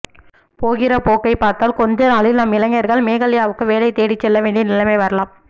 போகிற போக்கைப்பார்த்தால் கொஞ்சநாளில் நம் இளைஞர்கள் மேகாலயாவுக்கு வேலைதேடிச் செல்லவேண்டிய நிலைமை வரலாம்